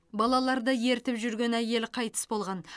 балаларды ертіп жүрген әйел қайтыс болған